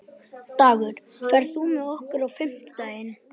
Dagur, ferð þú með okkur á fimmtudaginn?